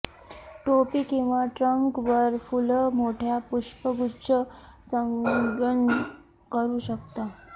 टोपी किंवा ट्रंक वर फुलं मोठ्या पुष्पगुच्छ संलग्न करू शकता